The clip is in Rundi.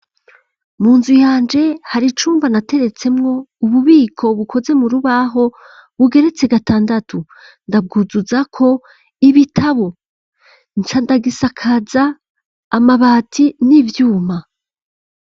Mu nzu yanje hari icumba nateretsemwo ububiko bukoze mu rubaho bugeretse gatandatu, ndabwuzuza ko ibitabo nca ndagisakaza amabati n'ivyuma.